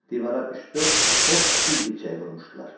Divara üç-dörd boş gül dibçəyi vurmuşdular.